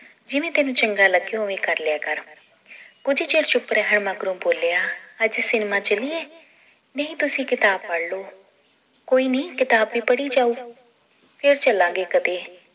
ਜਿਵੇਂ ਤੈਨੂੰ ਚੰਗਾ ਲੱਗੇ ਓਵੇਂ ਕਰ ਲਿਆ ਕਰ ਕੁਝ ਚਿਰ ਚੁੱਪ ਰਿਹਾ ਮਗਰੋਂ ਬੋਲਿਆ ਅੱਜ ਸਿਨੇਮਾ ਚੱਲੀਏ ਨਹੀ ਤੁਸੀ ਕਿਤਾਬ ਪੜ੍ਹਲੋ ਕੋਇਨੀ ਕਿਤਾਬ ਵੀ ਪੜ੍ਹੀ ਜਾਉ ਫਿਰ ਚੱਲਾਂਗੇ ਕਦੇ